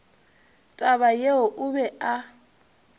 taba yeo o be a